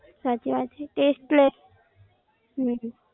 સાચી વાત છે, એટલે જ.